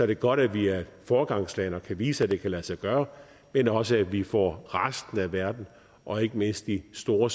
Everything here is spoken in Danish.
det godt at vi er et foregangsland og kan vise at det kan lade sig gøre men også at vi får resten af verden og ikke mindst de store